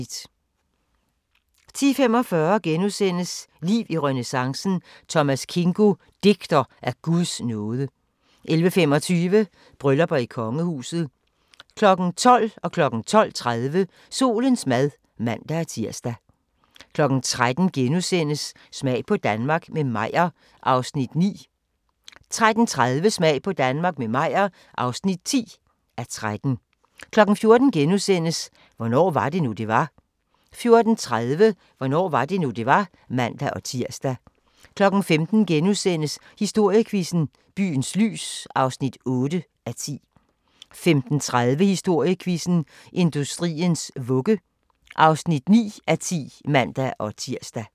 10:45: Liv i renæssancen: Thomas Kingo - digter af Guds nåde * 11:25: Bryllupper i kongehuset 12:00: Solens mad (man-tir) 12:30: Solens mad (man-tir) 13:00: Smag på Danmark – med Meyer (9:13)* 13:30: Smag på Danmark – med Meyer (10:13) 14:00: Hvornår var det nu, det var? * 14:30: Hvornår var det nu, det var? (man-tir) 15:00: Historiequizzen: Byens lys (8:10)* 15:30: Historiequizzen: Industriens vugge (9:10)(man-tir)